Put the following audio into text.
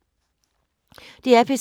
DR P3